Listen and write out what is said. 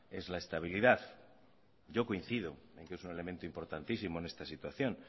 es la estabilidad yo coincido en que es un elemento importantísimo en esta situación